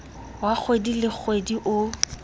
wa kgwedi le kgwedi o